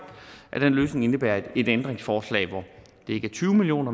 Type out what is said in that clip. at den løsning indebærer et ændringsforslag hvor det er ikke er tyve million